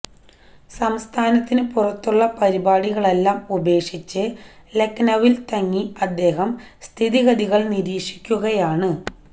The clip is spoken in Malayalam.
സംസ്ഥാനത്തിനു പുറത്തുള്ള പരിപാടികളെല്ലാം ഉപേക്ഷിച്ച് ലഖ്നൌവിൽതങ്ങി അദ്ദേഹം സ്ഥിതിഗതികൾ നിരീക്ഷിക്കുകയാണ്